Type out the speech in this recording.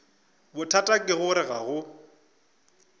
bothata ke gore ga go